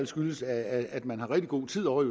skyldes at man har rigtig god tid ovre